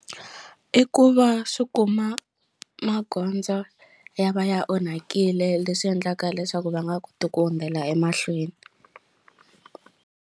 I ku va swi kuma magondzo ya va ya onhakile leswi endlaka leswaku va nga koti ku hundzela emahlweni.